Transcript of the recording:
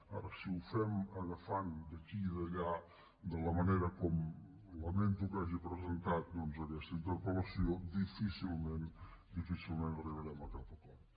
ara si ho fem agafant d’aquí i d’allà de la manera com lamento que hagi presentat doncs aquesta interpel·lació difícilment arribarem a cap acord